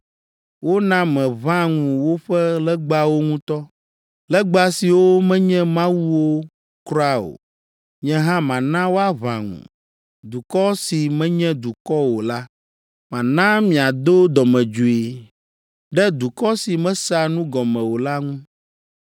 Wona meʋã ŋu woƒe legbawo ŋutɔ, legba siwo menye mawuwo kura o. Nye hã mana woaʋã ŋu dukɔ si menye dukɔ o la. Mana miado dɔmedzoe ɖe dukɔ si mesea nu gɔme o la ŋu.